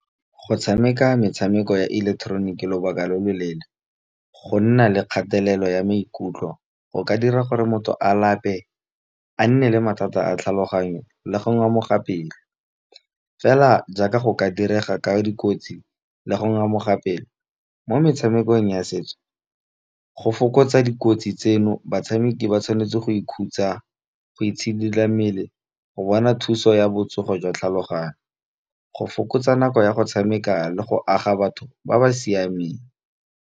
Go tshameka metshameko ya ileketeroniki lobaka lo loleele, go nna le kgatelelo ya maikutlo go ka dira gore motho a lape a nne le mathata a tlhaloganyo, le go ngamoga pelo. Fela jaaka go ka direga ka dikotsi le go ngamoga pelo mo metshamekong ya setso go fokotsa dikotsi tseno batshameki ba tshwanetse go i khutsa, go itshidila mmele, go bona thuso ya botsogo jwa tlhaloganyo. Go fokotsa nako ya go tshameka le go aga batho ba ba siameng.